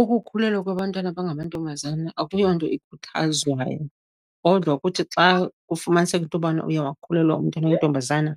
Ukukhulelwa kwabantwana abangamantombazana akuyonto ikhuthazwayo, kodwa kuthi xa kufumaniseka into bana uye wakhulelwa umntana oyintombazana